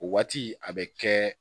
O waati a bɛ kɛ